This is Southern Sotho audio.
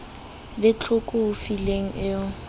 le tlhoko ho fihlele o